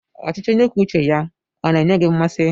Ọchịchị onye kwuo uche ya ọ na-enye gị mmasị?